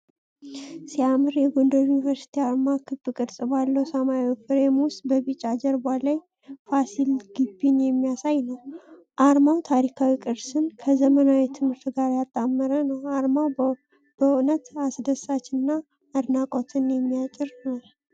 ሲያምር! የጎንደር ዩኒቨርሲቲ አርማ ክብ ቅርጽ ባለው ሰማያዊ ፍሬም ውስጥ በቢጫ ጀርባ ላይ ፋሲል ግቢን የሚያሳይ ነው። አርማው ታሪካዊ ቅርስን ከዘመናዊ ትምህርት ጋር ያጣመረ ነው። አርማው በእውነት አስደሳችና አድናቆትን የሚያጭር ነው።